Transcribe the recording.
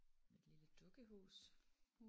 Med et lille dukkehus